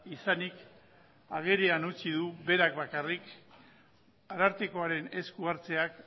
izanik agerian utzi du berak bakarrik arartekoaren esku hartzeak